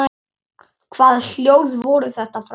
Hvaða hljóð voru þetta frammi?